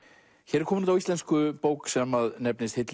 er komin á íslensku bók sem nefnist